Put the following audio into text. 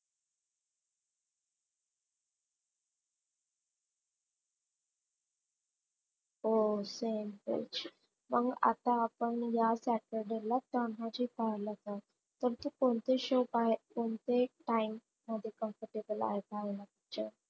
Oh same pinch मग आता आपण ह्या ला तानाजी पाहायला जाऊ पण तू कोणते show पह कोणते कोणते time comfortable आहे पाहायला.